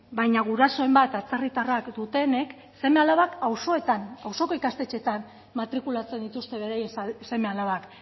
baina gurasoren bat atzerritarra dutenek seme alabak auzoko ikastetxeetan matrikulatzen dituzte beraien seme alabak